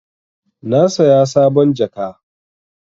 Na saya sabon jaka.